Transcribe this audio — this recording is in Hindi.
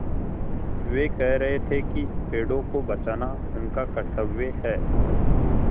वे कह रहे थे कि पेड़ों को बचाना उनका कर्त्तव्य है